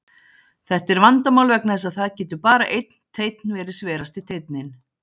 Þetta er vandamál vegna þess að það getur bara einn teinn verið sverasti teinninn.